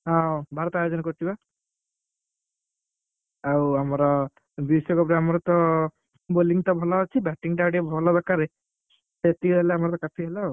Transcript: ହଁ ଭାରତ ଆୟୋଜନ କରୁଛି ବା। ଆଉ ଆମର ବିଶ୍ଵ cup ରେ ଆମର ତ bowling ତ ଭଲ ଅଛି batting ଟା ଆଉ ଟିକେ ଭଲ ଦରକାର, ସେତିକି ହେଲେ ଆମର ତ କାଫି ହେଲା ଆଉ।